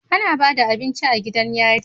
Ana Bada abinci a gidan yari